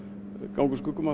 ganga úr skugga um